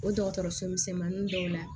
O dɔgɔtɔrɔso misɛnmanin dɔw la